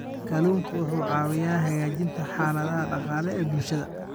Kalluunku wuxuu caawiyaa hagaajinta xaaladaha dhaqaale ee bulshada.